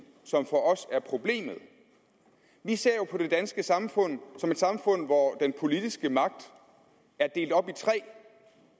som for os er problemet vi ser jo på det danske samfund som et samfund hvor den politiske magt er delt op i tre